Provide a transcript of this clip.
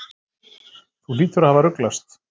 Þú hlýtur að hafa ruglast.